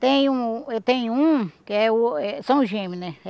Tenho eu tenho um, que é o eh são gêmeo, né?